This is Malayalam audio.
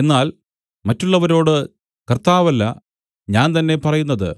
എന്നാൽ മറ്റുള്ളവരോട് കർത്താവല്ല ഞാൻ തന്നെ പറയുന്നത്